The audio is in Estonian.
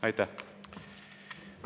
Aitäh!